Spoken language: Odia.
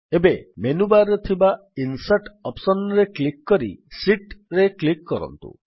ଏବେ ମେନୁ ବାର୍ ରେ ଥିବା ଇନସର୍ଟ ଅପ୍ସନ୍ ରେ କ୍ଲିକ୍ କରି Sheetରେ କ୍ଲିକ୍ କରନ୍ତୁ